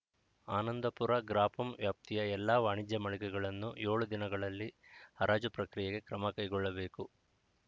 ಆನಂದಪುರ ಗ್ರಾಪಂ ವ್ಯಾಪ್ತಿಯ ಎಲ್ಲ ವಾಣಿಜ್ಯ ಮಳಿಗೆಗಳನ್ನು ಏಳು ದಿನಗಳಲ್ಲಿ ಹರಾಜು ಪ್ರಕ್ರಿಯೆಗೆ ಕ್ರಮಕೈಗೊಳ್ಳಬೇಕು